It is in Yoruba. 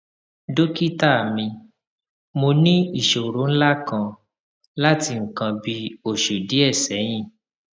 dókítà mi mo ní ìṣòro ńlá kan láti nǹkan bí oṣù díẹ sẹyìn